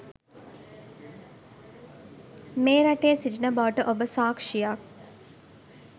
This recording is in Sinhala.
මේ රටේ සිටින බවට ඔබ සාක්ෂියක්.